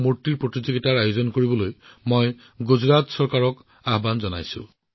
অম্বাজী শক্তি পীঠত মাতৃ দেৱীৰ দৰ্শনৰ সমান্তৰালকৈ এই প্ৰতিমূৰ্তিসমূহো ভক্তসকলৰ আকৰ্ষণৰ কেন্দ্ৰবিন্দু হৈ পৰিছে